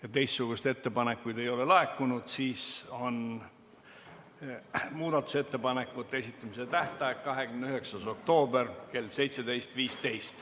Et teistsuguseid ettepanekuid ei ole laekunud, siis on muudatusettepanekute esitamise tähtaeg 29. oktoobril kell 17.15.